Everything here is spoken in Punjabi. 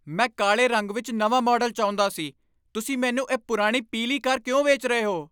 ਮੈਂ ਕਾਲੇ ਰੰਗ ਵਿੱਚ ਨਵਾਂ ਮਾਡਲ ਚਾਹੁੰਦਾ ਸੀ। ਤੁਸੀਂ ਮੈਨੂੰ ਇਹ ਪੁਰਾਣੀ ਪੀਲੀ ਕਾਰ ਕਿਉਂ ਵੇਚ ਰਹੇ ਹੋ?